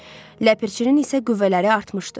Ləpərçinin isə qüvvələri artmışdı.